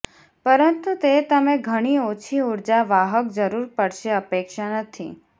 પરંતુ તે તમે ઘણી ઓછી ઊર્જા વાહક જરૂર પડશે અપેક્ષા નથી